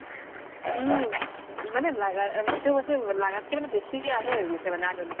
উম মানে লাগা যিতো লাগাতকে মানে বেচি সেই হৈ গৈছে মানে আধুনিক